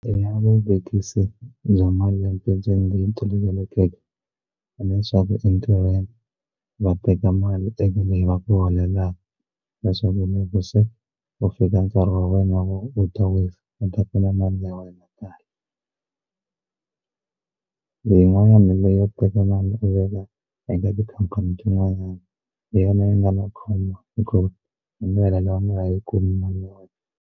I na vuvekisi bya malembe tolovelekeke leswaku entirhweni va teka mali leyi va ku holelaku leswaku loko se ku fika nkarhi wa wena wo u ta wisa ni ta kuma mali ya wena kahle yin'wanyana leyo teka mali u veka eka tikhampani tin'wanyana hi yona yi nga u nga yi kumi mali ya wena.